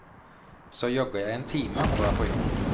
Så jogger jeg en time og drar på jobb.